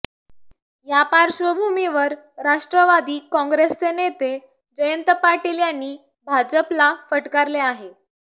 या पार्श्वभूमीवर राष्ट्रवादी काँग्रेसचे नेते जयंत पाटील यांनी भाजपला फटकारले आहे